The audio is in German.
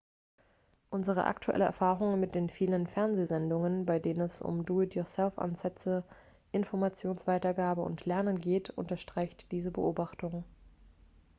unsere aktuelle erfahrung mit den vielen fernsehsendungen bei denen es um do-it-yourself-ansätze informationsweitergabe und lernen geht unterstreicht diese beobachtung